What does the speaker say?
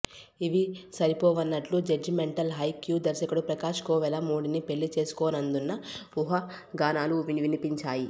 ఇవి సరిపోవన్నట్లు జడ్జిమెంటల్ హై క్యా దర్శకుడు ప్రకాశ్ కోవెలమూడిని పెళ్లి చేసుకోనుందన్న ఊహాగానాలు వినిపించాయి